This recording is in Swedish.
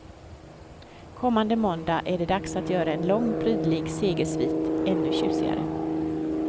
Kommande måndag är det dags att göra en lång, prydlig segersvit ännu tjusigare.